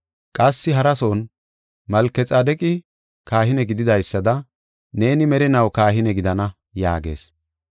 Qassi harason, “Malkexaadeqi kahine gididaysada, neeni merinaw kahine gidana” yaagees.